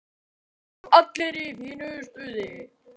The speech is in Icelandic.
Og allir í fínu stuði.